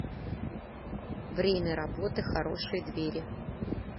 время работы хорошие двери